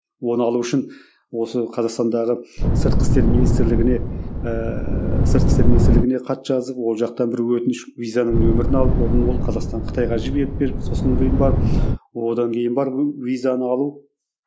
оны алу үшін осы қазақстандағы сыртқы істер министрлігіне ыыы сыртқы істер министрлігіне хат жазып ол жақта бір өтініш визаның нөмірін алып одан ол қазақстан қытайға жіберіп беріп сосын кейін барып одан кейін барып визаны алу